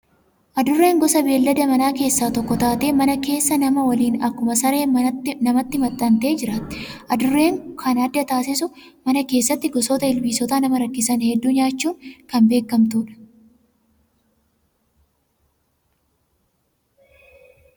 Adurreen gosa beellada manaa keessaa tokko taatee mana keessa nama waliin akkuma saree namatti maxxantee jiraatti. Adurree kan adda taasisu mana keessatti gosoota ilbiisotaa nama rakkisan hedduu nyaachuun kan beekamtudha.